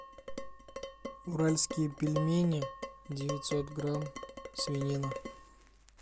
уральские пельмени девятьсот грамм свинина